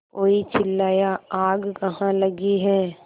कोई चिल्लाया आग कहाँ लगी है